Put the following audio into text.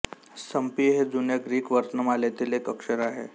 संपी हे जुन्या ग्रीक वर्णमालेतील एक अक्षर आहे